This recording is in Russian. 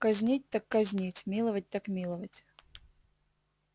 казнить так казнить миловать так миловать